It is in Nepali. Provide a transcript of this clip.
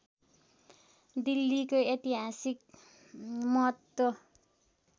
दिल्लीको ऐतिहासिक महत्त्व